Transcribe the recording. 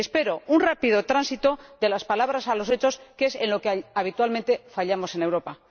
Y espero un rápido tránsito de las palabras a los hechos, que es en lo que habitualmente fallamos en Europa.